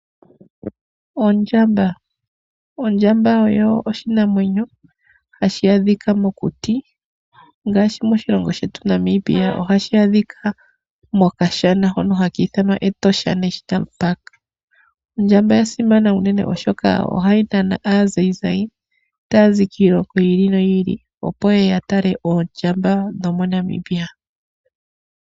Ondjamba: Ondjamba oyo oshinamwenyo hashi adhika mokuti, ngaashi moshilongo Namibia, ohayi adhika mokashana hoka haki ithanwa Etosha National Park. Ondjamba oya simana unene oshoka ohayi nana aatalelipo, mboka hayazi kiilongo yiili noyiili opo yeye yatale oondjamba dho moNamibia.